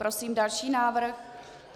Prosím další návrh.